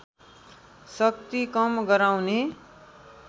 शक्ति कम गराउने